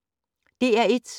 DR1